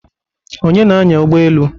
Onye na-anya ụgbọ elu?